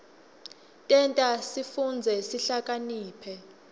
tenta sifundze sihlakaniphe